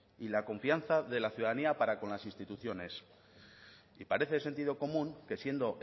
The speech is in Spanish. y la confianza de la ciudadanía para con las instituciones y parece de sentido común que siendo